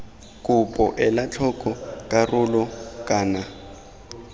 kopo ela tlhoko karolo kana